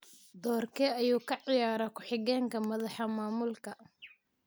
Doorkee ayuu ka ciyaraa ku xigeenka madaxa maamulka?